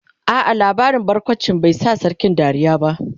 a'a labarin barkawncin bai Sa sarkin Dariya ba